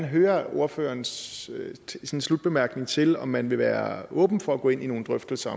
høre ordførerens slutbemærkning til om man vil være åben for at gå ind i nogle drøftelser